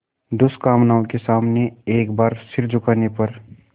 दुष्कामनाओं के सामने एक बार सिर झुकाने पर